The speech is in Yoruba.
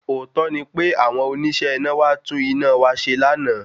Òótó ni pé àwọn oníṣẹ́ iná wá tún iná wá ṣe lánàá